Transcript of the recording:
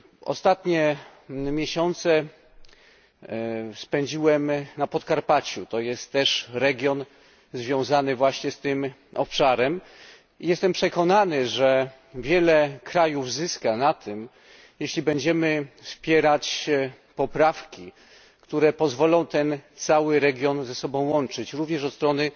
Ostatnie miesiące spędziłem na Podkarpaciu to jest też region związany właśnie z tym obszarem i jestem przekonany, że wiele krajów zyska na tym, jeśli będziemy wspierać poprawki, które pozwolą ten cały region ze sobą łączyć, również od strony